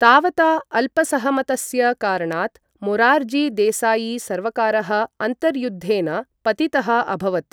तावता अल्पसहमतस्य कारणात् मोरार्जी देसायी सर्वकारः अन्तर्युद्धेन पतितः अभवत्।